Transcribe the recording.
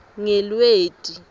ngelweti